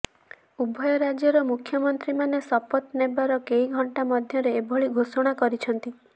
ଉଭୟ ରାଜ୍ୟର ମୁଖ୍ୟମନ୍ତ୍ରୀମାନେ ଶପଥ ନେବାର କେଇଘଣ୍ଟା ମଧ୍ୟରେ ଏଭଳି ଘୋଷଣା କରିଛନ୍ତି